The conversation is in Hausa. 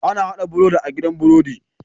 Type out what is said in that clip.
Ana hada birodi a gidan birodi